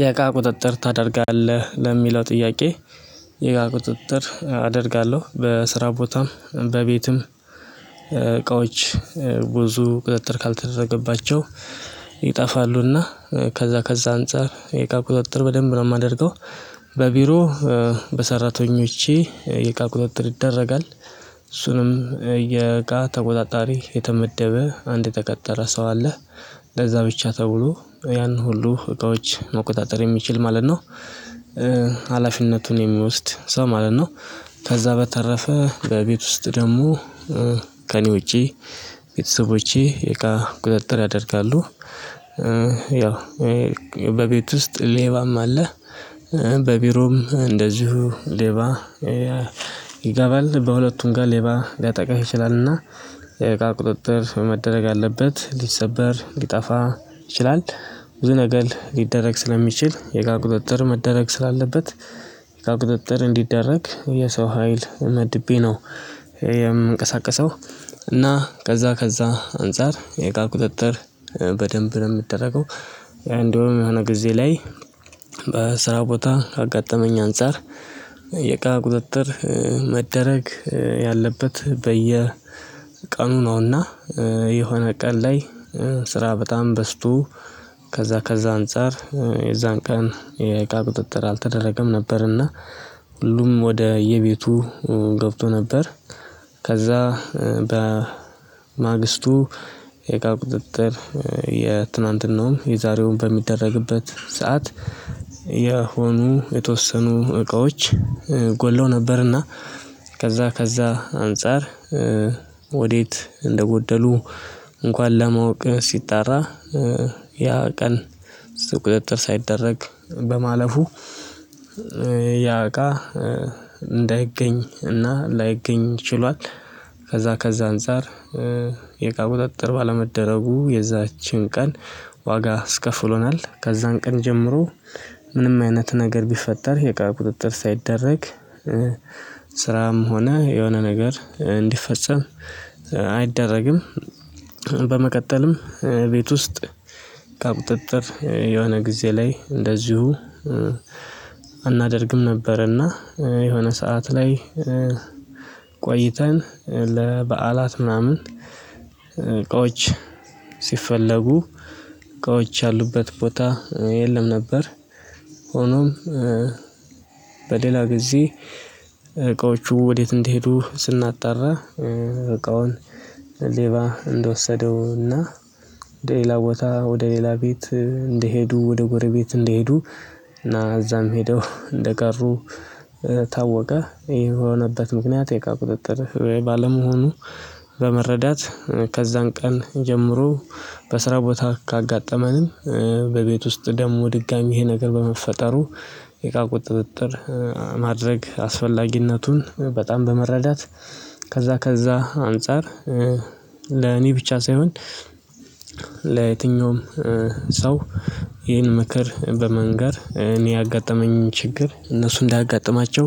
የእቃ ቁጥጥር ታደርጋለህ ለሚለው ጥያቄ የእቃ ቁጥጥር አደርጋለሁ በስራ ቦታም በቤትም እቃዎች ብዙ ቁጥጥር ካልተደረገባቸው ይጠፋሉና ከዛ ከዛ አንፃር የእቃ ቁጥጥር በደንብ ነው ማደርገው። በቢሮ በሰራተኞቼ የቃ ቁጥጥር ይደረጋል እሱንም የእቃ ተቆጣጣሪ የተመደበ አንድ የተቀጠረ ሰው አለ ለዛ ብቻ ተብሎ ያን ሁሉ እቃዎች መቆጣጠር የሚችል ማለት ነው። ሀላፊነቱን የሚወስድ ሰው ማለት ነው። ከዛ በተረፈ በቤት ውስጥ ደግሞ ከእኔ ውጪ ቤተሰቦቼ የእቃ ቁጥጥር ያደርጋሉ። ያው በቤት ውስጥ ሌባም አለ። በቢሮም እንደዚሁ ሌባ ይገባል በሁለቱም ጋር ሌባ ሊያጠቃህ ይችላልና። የእቃ ቁጥጥር መደረግ አለበት ሊሰበር ሊጠፋ ይችላል። ብዙ ነገር ሊደረግ ስለሚችል የእቃ ቁጥጥር መደረግ ስላለበት የእቃ ቁጥጥር እንዲደረግ የሰው ሀይል መድቤ ነው። የምንቀሳቀሰው እና ከዛ ከዛ አንፃር የእቃ ቁጥጥር በደንብ ነው የምደረገው። እንደውም የሆነ ጊዜ ላይ በስራ ቦታ ካጋጠመኝ አንፃር የእቃ ቁጥጥር መደረግ ያለበት በየ ቀኑ ነውና። የሆነ ቀን ላይ ስራ በጣም በዝቶ ከዛ ከዛ አንፃር የዛን ቀን የእቃ ቁጥጥር አልተደረገም ነበርና ሁሉም ወደየቤቱ ገብቶ ነበር። ከዛ በማግስቱ የእቃ ቁጥጥር የትናንትናውን የዛሬውን በሚደረግበት ሰዓት የሆኑ የተወሰኑ እቃዎች ጎለው ነበርና ከዛ ከዛ አንፃር ወዴት እንደጎደሉ እንኳን ለማወቅ ሲጣራ ያ ቀን ቁጥጥር ሳይደረግ በማለፉ ያ እቃ እንዳይገኝ እና ላይገኝ ችሏል። ከዛ ከዛ አንፃር የእቃ ቁጥጥር ባለመደረጉ የዛችን ቀን ዋጋ ኣስከፍሎናል። ከዛን ቀን ጀምሮ ምንም አይነት ነገር ቢፈጠር የእቃ ቁጥጥር ሳይደረግ ስራም ሆነ የሆነ ነገር እንዲፈጸም ኣይደረግም። በመቀጠልም ቤት ውስጥ እቃ ቁጥጥር የሆነ ጊዜ ላይ እንደዚሁ ኣናደርግም ነበረና። የሆነ ሰዓት ላይ ቆይተን ለበዓላት ምናምን እቃዎች ሲፈለጉ እቃዎች ያሉበት ቦታ የለም ነበር። ሆኖም በሌላ ጊዜ እቃዎቹ ወዴት እንዲሄዱ ስናጣራ እቃውን ሌባ እንደወሰደውና ወደ ሌላ ቦታ ወደ ሌላ ቤት እንደሄዱ ወደ ጎረቤት እንደሄዱ እና እዛም ሄደው እንደቀሩ ታወቀ። የሆነበት ምክንያት የእቃ ቁጥጥር ባለመሆኑ። በመረዳት ከዛን ቀን ጀምሮ በስራ ቦታ ካጋጠመንም በቤት ውስጥ ደግሞ ድጋሜ ይሄ ነገር በመፈጠሩ የእቃ ቁጥጥር ማድረግ አስፈላጊነቱን በጣም በመረዳት። ከዛ ከዛ አንፃር ለኔ ብቻ ሳይሆን ለየትኛውም ሰው ይህን ምክር በመንገር እኔ ያጋጠመኝ ችግር እነሱ እንዳያጋጥማቸው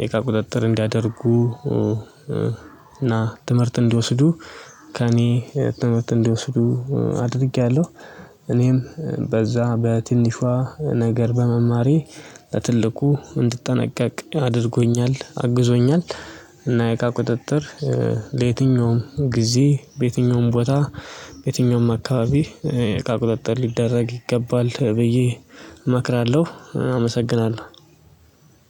የእቃ ቁጥጥር እንዲያደርጉ እና ትምህርት እንዲወስዱ ከእኔ ትምህርት እንዲወስዱ አድርጌያለሁ። እኔም በዛ በትንሿ ነገር በመማሬ ለትልቁ እንድጠነቀቅ አድርጎኛል አግዞኛል። እና የእቃ ቁጥጥር ለየትኛውም ጊዜ በየትኛውም ቦታ የትኛውም አካባቢ እቃ ቁጥጥር ሊደረግ ይገባል ብዬ እመክራለሁ። ኣመሰግናለሁ።